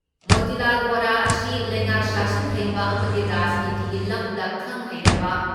ꯃꯣꯇꯤꯂꯥꯜ ꯕꯣꯔꯥ ꯑꯁꯤ ꯂꯩꯉꯥꯛ ꯁꯥꯁꯟ ꯍꯩꯕ ꯑꯃꯗꯤ ꯔꯥꯖꯅꯤꯇꯤꯒꯤ ꯂꯝꯗ ꯈꯪ ꯍꯩꯔꯕ